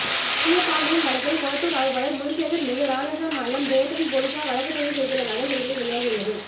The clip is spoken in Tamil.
பெரியன்பாண்டியன் வழக்கில் கொளத்தூர் ஆய்வாளர் முனிசேகர் மீது ராஜஸ்தான் மாநிலம் ஜெயத்ரன் போலீசார் வழக்குப்பதிவு செய்துள்ளதாக செய்திகள் வெளியாகியுள்ளது